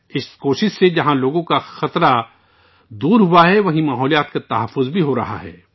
اس کوشش سے جہاں لوگوں کا خطرہ دور ہوا ہے وہیں فطرت کا بھی تحفظ کیا جا رہا ہے